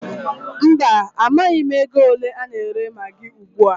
Mba, amaghị m ego ole a na-ere magị ugbua.